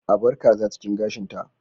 A bar ƙaza cikin gashin ta.